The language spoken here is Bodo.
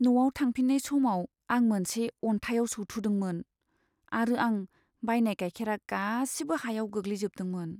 न'आव थांफिननाय समाव, आं मोनसे अनथायाव सौथुदोंमोन, आरो आं बायनाय गाइखेरा गासिबो हायाव गोग्लैजोबदोंमोन।